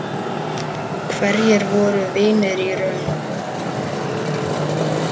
Hverjir voru vinir í raun?